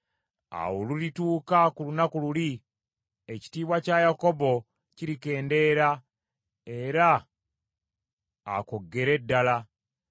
“Awo olulituuka ku lunaku luli, ekitiibwa kya Yakobo kirikendeera; era akoggere ddala.